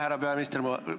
Härra peaminister!